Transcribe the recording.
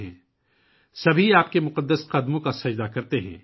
ہر کوئی آپ کے پوتر چرنوں کا وندن کرتا ہے